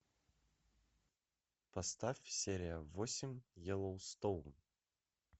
поставь серия восемь йеллоустоун